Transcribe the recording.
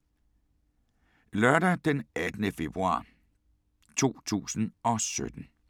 Lørdag d. 18. februar 2017